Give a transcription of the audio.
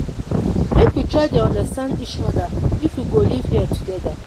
make we try dey understand each oda if we go live here togeda.